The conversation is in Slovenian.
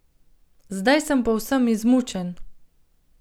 Zdaj sem povsem izmučen.